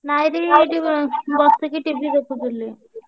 ନାଇଁରେ ଏଇଠି ଇଁ ବସିକି TV ଦେଖୁଥିଲି।